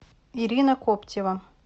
ирина коптева